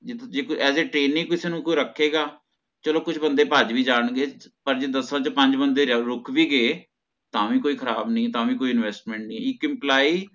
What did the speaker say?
ਜੇ as a training ਕਿਸੇ ਨੂੰ ਕੋਈ ਰਖੇਗਾ ਚਲੋ ਕੁਛ ਬੰਦੇ ਭੱਜ ਵੀ ਜਾਣ ਗਏ ਦਸਾਂ ਚੋਂ ਪੰਜ ਬੰਦੇ ਰੁਕ ਵੀ ਗਯੇ ਤਹ ਵੀ ਕੋਈ ਖਰਾਬ ਨੀ ਤਾ ਵੀ ਕੋਈ investment ਨੀ ਇਕ employee